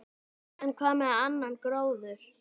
En hvað með annan gróður?